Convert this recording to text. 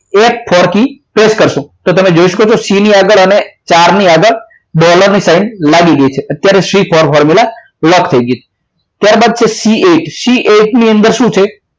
F four key trap કરશો તો તમે જોઈ શકો છો c ની આગળ અને ચાર ની આગળ ડોલરની સાઇન લાગી ગઈ છે ત્યારે c four formula લોક થઈ ગઈ છે ત્યારબાદ છ c eight ની અંદર શું છે